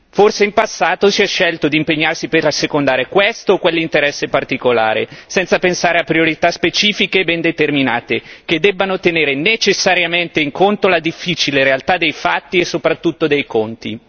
Forse in passato si è scelto di impegnarsi per assecondare questo o quell'interesse particolare, senza pensare a priorità specifiche ben determinate che debbano tenere necessariamente in conto la difficile realtà dei fatti e soprattutto dei conti.